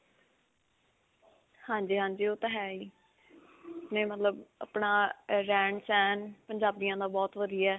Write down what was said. ਹਾਂਜੀ ਹਾਂਜੀ, ਉਹ ਤਾਂ ਹੈ ਹੀ, ਨਹੀਂ ਮਤਲਬ ਅਪਣਾ ਅਅ ਰਹਿਣ-ਸਹਿਣ ਪੰਜਾਬੀਆਂ ਦਾ ਬਹੁਤ ਵਧੀਆ ਹੈ